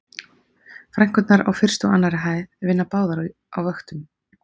Frænkurnar á fyrstu og annarri hæð vinna báðar á vöktum